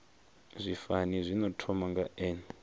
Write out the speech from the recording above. zwifani zwino thoma nga n